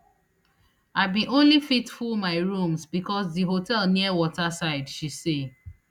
i bin only fit full my rooms becos di hotel near waterside she say